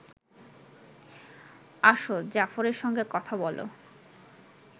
আসো জাফরের সঙ্গে কথা বলো